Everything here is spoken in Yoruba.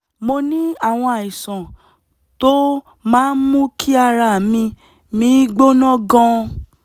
mo ní àwọn àìsàn tó máa ń mú kí ara mi mi gbóná gan-an